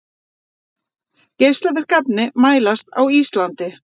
Geislavirk efni mælast á Íslandi